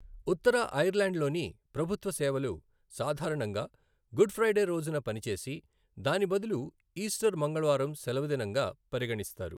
ఉత్తర ఐర్లాండ్లోని ప్రభుత్వ సేవలు సాధారణంగా గుడ్ ఫ్రైడే రోజున పనిచేసి, దాని బదులు ఈస్టర్ మంగళవారం సెలవుదినంగా పరిగణిస్తారు.